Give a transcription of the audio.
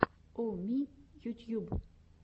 о ми ютьюб